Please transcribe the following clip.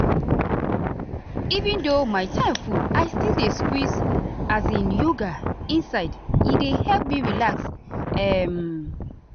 even though my time full i still dey squeeze as in yoga inside e dey help me relax. um